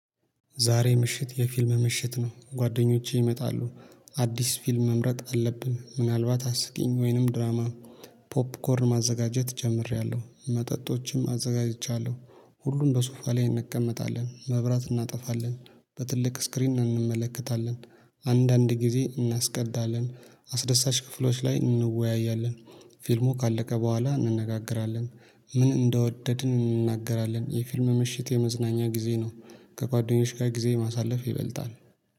ዛሬ ምሽት የፊልም ምሽት ነው ጓደኞቼ ይመጣሉ። አዲስ ፊልም መምረጥ አለብን ምናልባት አስቂኝ ወይንም ድራማ። ፖፕኮርን ማዘጋጀት ጀምሬያለሁ መጠጦችም አዘጋጅቻለሁ። ሁሉም በሱፋ ላይ እንቀመጣለን መብራት እናጠፋለን በትልቅ ስክሪን እንመለከታለን። አንዳንድ ጊዜ እናስቀዳለን አስደሳች ክፍሎች ላይ እንወያያለን። ፊልሙ ካለቀ በኋላ እንነጋገራለን። ምን እንደወደድን እንናገራለን የፊልም ምሽት የመዝናኛ ጊዜ ነው። ከጓደኞች ጋር ጊዜ ማሳለፍ ይበልጣል።